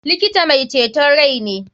Likita mai ceton rai ne.